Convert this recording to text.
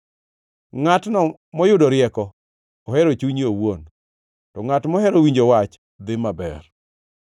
Ngʼatno moyudo rieko ohero chunye owuon, to ngʼat mohero winjo wach dhi maber.